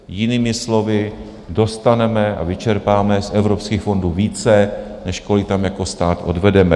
Jinými slovy, dostaneme a vyčerpáme z evropských fondů více, než kolik tam jako stát odvedeme.